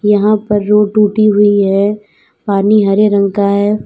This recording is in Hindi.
यहां पर रोड टूटी हुई है पानी हरे रंग का है।